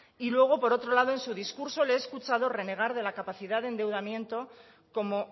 y luego por otro lado en su discurso le he escuchado renegar de la capacidad de endeudamiento como